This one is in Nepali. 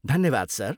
धन्यवाद, सर।